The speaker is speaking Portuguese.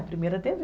A primeira te vê